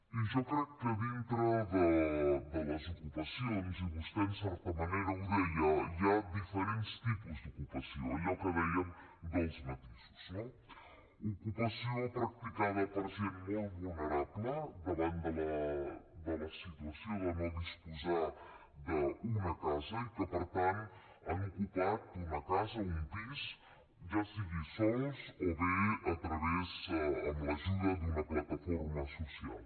i jo crec que dintre de les ocupacions i vostè en certa manera ho deia hi ha diferents tipus d’ocupació allò que dèiem dels matisos no ocupació practicada per gent molt vulnerable davant de la situació de no disposar d’una casa i que per tant han ocupat una casa o un pis ja sigui sols o bé amb l’ajuda d’una plataforma social